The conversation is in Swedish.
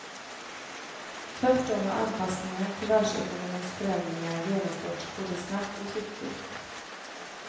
Tvärtom har anpassningen till världsekonomins förändringar genomförts både snabbt och skickligt.